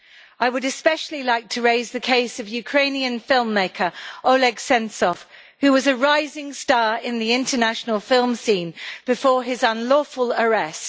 I would especially like to raise the case of Ukrainian film-maker Oleg Sentsov, who was a rising star in the international film scene before his unlawful arrest.